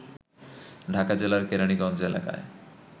ঢাকা জেলার কেরানীগঞ্জ এলাকায়